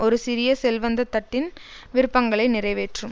ஒரு சிறிய செல்வந்த தட்டின் விருப்பங்களை நிறைவேற்றும்